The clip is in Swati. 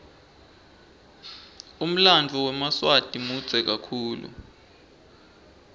umlanduo wemaswati mudze kakhulu